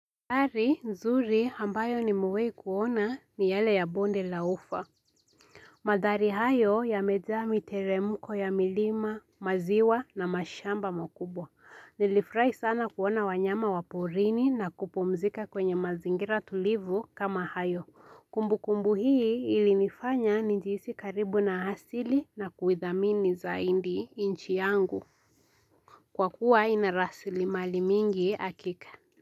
Madhari nzuri hambayo ni mewai kuona ni yale ya bonde laufa. Madhari hayo yamejaa miteremko ya milima, maziwa na mashamba makubwa. Nilifrai sana kuona wanyama waporini na kupumzika kwenye mazingira tulivu kama hayo. Kumbu kumbu hii ili nifanya nijiisi karibu na hasili na kuithamini zaindi inchi yangu. Kwa kuwa inarasili mali mingi akika.